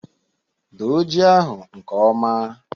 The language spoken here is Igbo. Doo ji ahụ nke ọma